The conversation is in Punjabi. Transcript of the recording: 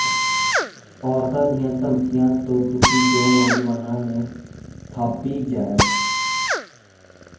ਔਰਤਾਂ ਦੀਆਂ ਧਮਕੀਆਂ ਤੋਂ ਦੁਖੀ ਦੋ ਨੌਜਵਾਨਾਂ ਨੇ ਖਾਧੀ ਜ਼ਹਿਰ